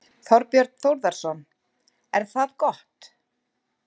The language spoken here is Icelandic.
Þorbjörn Þórðarson: Er það gott?